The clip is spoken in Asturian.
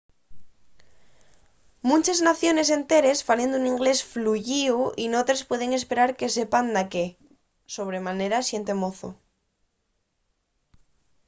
munches naciones enteres falen un inglés fluyíu y n’otres puedes esperar que sepan daqué – sobre manera la xente mozo